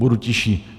Budu tišší.